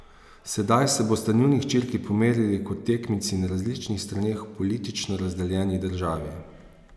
Sedaj se bosta njuni hčerki pomerili kot tekmici na različnih straneh v politično razdeljeni državi.